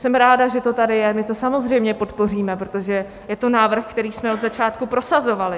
Jsem ráda, že to tady je, my to samozřejmě podpoříme, protože je to návrh, který jsme od začátku prosazovali.